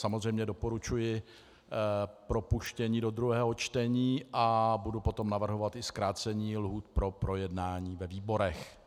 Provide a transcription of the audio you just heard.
Samozřejmě doporučuji propuštění do druhého čtení a budu potom navrhovat i zkrácení lhůt pro projednání ve výborech.